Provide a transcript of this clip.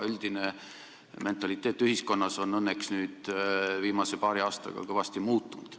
Üldine mentaliteet ühiskonnas on õnneks viimase paari aastaga kõvasti muutunud.